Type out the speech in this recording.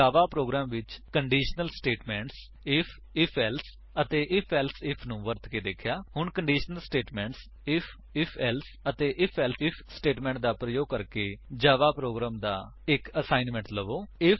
ਜਾਵਾ program ਵਿੱਚ conditional statements if if else ਅਤੇ if else if ਨੂੰ ਵਰਤ ਕੇ ਦੇਖਿਆ ਹੁਣ conditional statements if if else ਅਤੇ ਆਈਐਫ ਏਲਸੇ ਆਈਐਫ ਸਟੇਟਮੇਂਟਸ ਦਾ ਪ੍ਰਯੋਗ ਕਰਕੇ ਜਾਵਾ ਪ੍ਰੋਗਰਾਮ ਲਿਖਣ ਦਾ ਇਕ ਅਸਾਇਨਮੈਂਟ ਲਵੋ